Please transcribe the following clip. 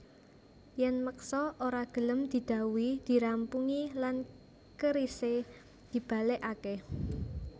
Yèn meksa ora gelem didhawuhi dirampungi lan kerisé dibalèkaké